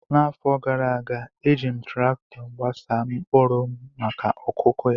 N’afọ gara aga, e ji m traktọ gbasaa mkpụrụ m maka okụkụ ya.